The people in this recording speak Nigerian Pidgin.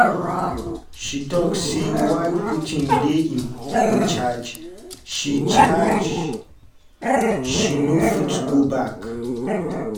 she tok say while putin dey in charge she charge she no fit go back.